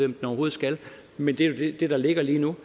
den overhovedet skal men det er jo det der ligger lige nu